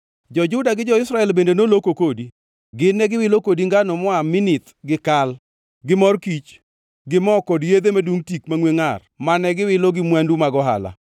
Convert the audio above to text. “ ‘Jo-Juda gi jo-Israel bende noloko kodi. Gin ne giwilo kodi ngano moa Minith gi kal, gi mor kich, gi mo kod yedhe madungʼ tik mangʼwe ngʼar mane giwilo gi mwandugi mag ohala.